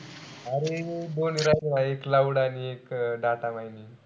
अरे बोलू राहिला एक cloud आणि एक data mining.